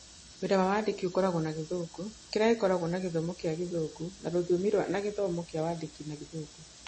Wĩra wa wandĩki ũkoragwo na gĩthũngũ, kĩrĩa gĩkoragwo na gĩthomo kĩa Gĩthũngũ ta rũthiomi na gĩthomo kĩa Wandĩki na Gĩthũngũ.